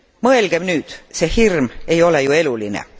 Mõelgem nüüd see hirm ei ole ju eluline.